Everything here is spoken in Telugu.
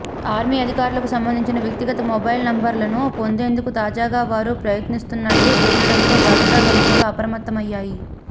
ఆర్మీ అధికారులకు సంబంధించిన వ్యక్తిగత మొబైల్ నంబర్లను పొందేందుకు తాజాగా వారు ప్రయత్నిస్తున్నట్టు తెలియడంతో భద్రతా సంస్థలు అప్రమత్తం అయ్యాయి